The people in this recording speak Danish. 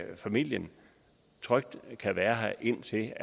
familien trygt kan være her indtil